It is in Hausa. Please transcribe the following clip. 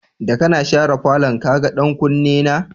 Da kana sharan falon, ka gan ɗan Kuni na?